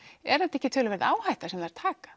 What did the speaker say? er þetta ekki töluverð áhætta sem þær taka